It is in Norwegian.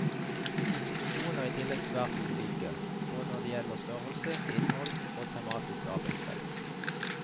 Institusjonene er i tillegg svært ulike, både når det gjelder størrelse, innhold og tematisk arbeidsfelt.